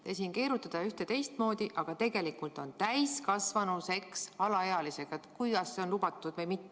Te keerutate ühte- ja teistpidi, aga tegelikult on teemaks täiskasvanu seks alaealisega, see, kas see on lubatud või mitte.